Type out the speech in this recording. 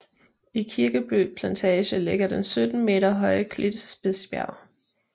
I Kirkeby Plantage ligger den 17 meter høje klit Spidsbjerg